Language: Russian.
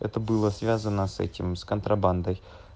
это было связано с этим с контрабандой